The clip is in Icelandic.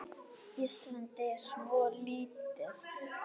Ísland er svo lítið!